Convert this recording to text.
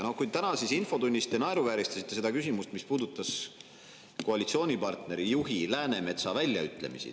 Ja tänases infotunnis te naeruvääristasite seda küsimust, mis puudutas koalitsioonipartner Läänemetsa väljaütlemisi.